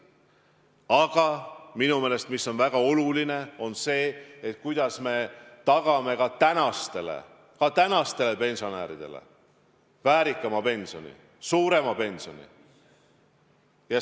Aga minu meelest on väga oluline see, kuidas me tagame ka praegustele pensionäridele väärikama pensioni, suurema pensioni.